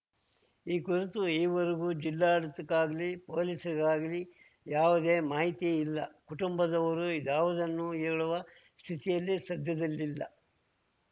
ಈ ಕುರಿತು ಈವರೆಗೂ ಜಿಲ್ಲಾಡಳಿತಕ್ಕಾಗಲಿ ಪೊಲೀಸರಿಗಾಗಲಿ ಯಾವುದೇ ಮಾಹಿತಿ ಇಲ್ಲ ಕುಟುಂಬದವರೂ ಇದ್ಯಾವುದನ್ನೂ ಹೇಳುವ ಸ್ಥಿತಿಯಲ್ಲಿ ಸದ್ಯದಲ್ಲಿಲ್ಲ